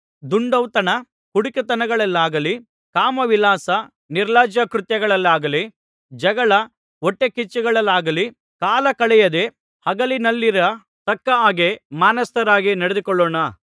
ದುಂದೌತಣ ಕುಡಿಕತನಗಳಲ್ಲಾಗಲಿ ಕಾಮವಿಲಾಸ ನಿರ್ಲಜ್ಜಾಕೃತ್ಯಗಳಲ್ಲಿಯಾಗಲಿ ಜಗಳ ಹೊಟ್ಟೆಕಿಚ್ಚುಗಳಲ್ಲಿಯಾಗಲಿ ಕಾಲ ಕಳೆಯದೆ ಹಗಲಿನಲ್ಲಿರ ತಕ್ಕ ಹಾಗೆ ಮಾನಸ್ಥರಾಗಿ ನಡೆದುಕೊಳ್ಳೋಣ